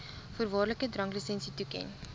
voorwaardelike dranklisensie toeken